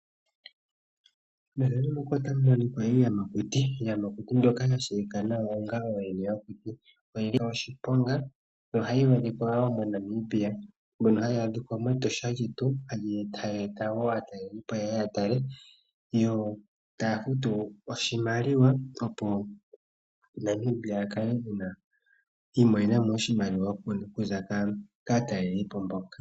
Mefano muka otamu monika iiyamakuti. Iiyamakuti mbyoka yatseyika nawa onga oyene yokuti. Oyili ya nika wo oshiponga noyili hayi adhika moNamibia hayi adhikwa metosha lyetu. Tayi eta wo aatalelipo yeye yatale. Yo taya futu oshimaliwa opo Namibia akale iimonena mo oshimaliwa okuza kaa talelipo mboka.